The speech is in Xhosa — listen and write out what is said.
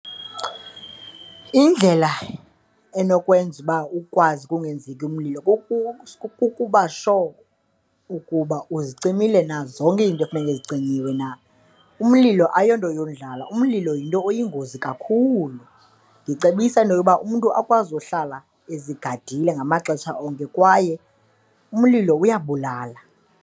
Indlela enokwenza uba ukwazi kungenzeki umlilo kukuba sure ukuba uzicimile na zonke into efuneke icinyiwe na. Umlilo ayonto yondlala, umlilo yinto oyingozi kakhulu, ndicebisa into yokuba umntu akwazi uhlala ezigadile ngamaxesha onke kwaye umlilo uyabulala.